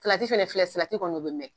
Salati fɛnɛ filɛ salati kɔni o bɛ mɛn.